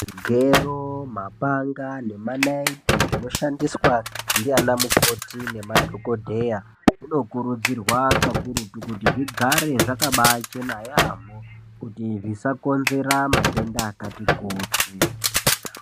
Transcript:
Zvigero, mapanga nemanaiti zvinoshandiswa ndianamukoti nemadhokodheya kunokurudzirwa kakurutu kuti zvigare zvakabaachena yaampho ,kuti zvisakonzera matenda akati kuti.